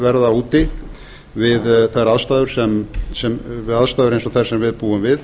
verða úti við aðstæður eins og þær sem við búum við